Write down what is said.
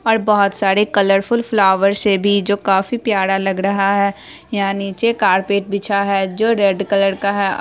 यहाँ पर एक बड़ी सी ब्लू कलर की मशीन रखी हुई है और काफी इलेक्ट्रिक बोर्ड भी है और यहाँ पर मोटे से पाइप भी है।